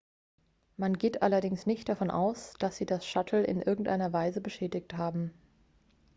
man geht allerdings nicht davon aus dass sie das shuttle in irgendeiner weise beschädigt haben